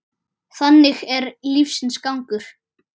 Þannig er lífsins gangur.